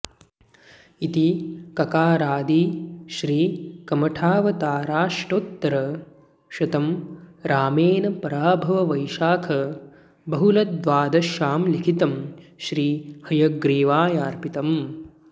इति ककारादि श्री कमठावताराष्टोत्तरशतम् रामेण पराभव वैशाख बहुलद्वादश्यां लिखितम् श्री हयग्रीवायार्पितम्